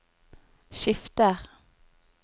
skifter